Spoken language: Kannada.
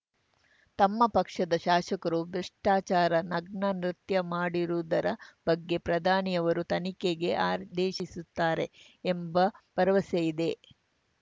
ತಮ್ಮ ಪಕ್ಷದ ಶಾಸಕರು ಭ್ರಷ್ಟಾಚಾರ ನಗ್ನ ನೃತ್ಯವಾಡಿದುದರ ಬಗ್ಗೆ ಪ್ರಧಾನಿಯವರು ತನಿಖೆಗೆ ಆದೇಶಿಸುತ್ತಾರೆ ಎಂಬ ಭರವಸೆಯಿದೆ